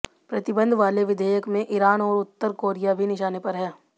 प्रतिबंध वाले विधेयक में ईरान और उत्तर कोरिया भी निशाने पर हैं